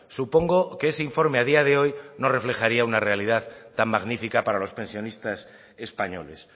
supongo que ese informe a día de hoy no reflejaría una realidad tan magnífica para los pensionistas españoles